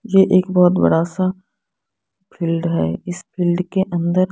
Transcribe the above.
ये एक बहोत बड़ा सा फील्ड है इस फील्ड के अंदर--